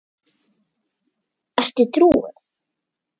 Ertu trúuð?